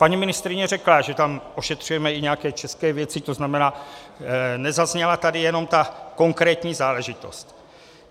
Paní ministryně řekla, že tam ošetřujeme i nějaké české věci, to znamená, nezazněla tady jenom ta konkrétní záležitost.